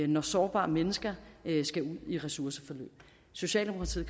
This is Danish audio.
når sårbare mennesker skal ud i ressourceforløb socialdemokratiet